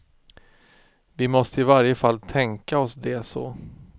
Vi måste i varje fall tänka oss det så.